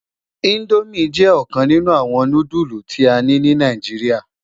Indómi jè okan ninù áwòn núdùlú ta ni nì Náijiriá